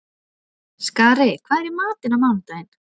Skari, hvað er í matinn á mánudaginn?